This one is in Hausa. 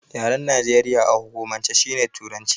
Yaren Najeriya a hukumance shine Turanci.